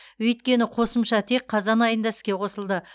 өйткені қосымша тек қазан айында іске қосылды